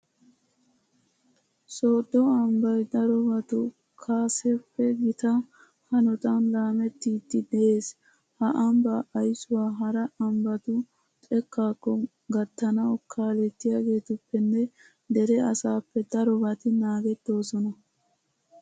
Sooddo ambbay darobatu kaseppe gita hanotan laamettiiddi de'ees. Ha ambbaa aysuwa hara ambbatu xekkaakko gattanawu kaalettiyageetuppenne dere asaappe darobati naagettoosona.